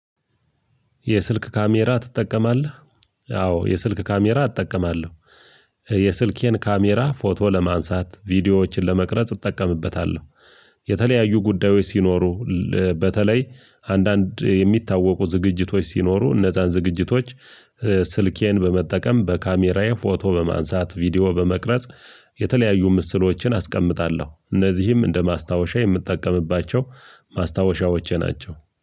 የስልክ ካሜራ ትጠቀማለህ? አዎ የስልክ ካሜራ እጠቀማለሁ። የስልኬን ካሜራ ፎቶ ለማንሳት ቪዲዮዎችን ለመቅረጽ እጠቀምበታለሁ። የተለያዩ ጉዳዮች ሲኖሩ እ ል በተለይ አንዳንድ የሚታወቁ ዝግጅቶች ሲኖሩ እነዛን ዝግጅቶች ኧ ስልኬን በመጠቀም በካሜራዬ ፎቶ በማንሳት ቪዲዮ በመቅረጽ የተለያዩ ምስሎችን አስቀምጣለሁ እነዚህም እንደ ማስታወሻ የምትጠቀምባቸው ማስታወሻዎቼ ናቸው